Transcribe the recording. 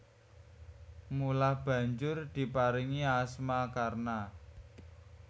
Mula banjur diparingi asma Karna